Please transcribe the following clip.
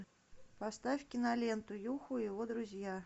поставь киноленту юху и его друзья